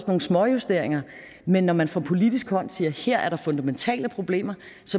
nogle småjusteringer men når man fra politisk hånd siger at her er der fundamentale problemer